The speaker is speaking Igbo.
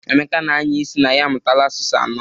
Emeka na-anya isi na ya amụtaala asụsụ anọ.